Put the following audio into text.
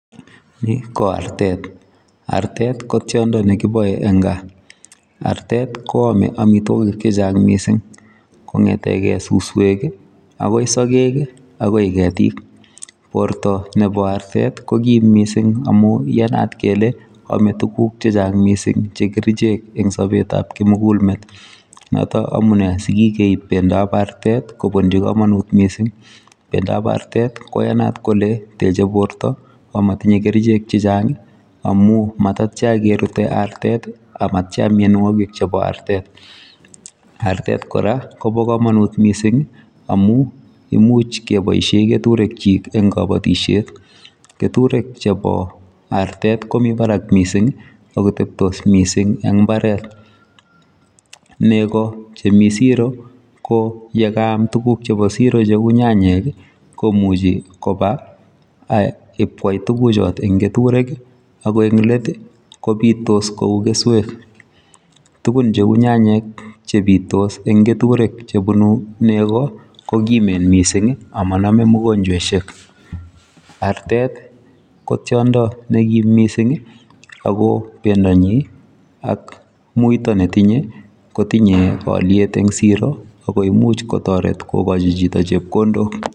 Ni ko artet, artet ko tiondo nekibae en gaah artet ko yame amitwagiik che chaang missing, kongetegei susweek ii agoi sageg agoi ketiik , borto nebo artet ko kiim missing amuun iyanat kele ame tuguuk che chaang missing en sabet ab kimugul meet noton amunei sigigeib artet kobunjii kamanuut missing, bendo ab artet koyanaat kole techei borto ak matinyei kercheek che chaang amuun matatyaan kerute artet ii ak mianwagik chebo artet, artet kora kobaa kamanuut missing amuun imuuch kebaisheen ketureek kyiik en kabatisyeet, ketureek chebo artet komii baraak missing ii ak kotebtis missing eng mbaret ,nego chemii siro ko ye kaam tuguuk chemii siroo che uu nyanyek ii komuchi kobaa kokwai tuguuk chotoon en ketureek ii ako en let ii kobitos kouu kesweek, tuguuk che uu nyanyek chebitos eng ketureek, nego ko kimeen missing ama maname mianwagik, artet ko tiondo ne kiim missing ii ako bendaanyin ak muitaa ne tinyei kotinyei aliet en siroo agoi imuuch kotaret chitoo kogoi chepkondook.